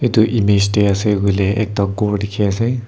tu image deh asey kuileh ekta ghor dikhi asey.